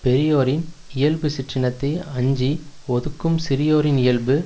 பெரியோரின் இயல்பு சிற்றினத்தை அஞ்சி ஒதுக்கும் சிறியோரின் இயல்பு